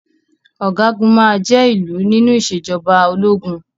Ọ̀gágun máa jé ìlú nínú ìṣèjọba ológun.